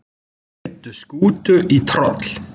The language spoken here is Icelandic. Veiddu skútu í troll